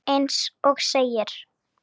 Eins og segir.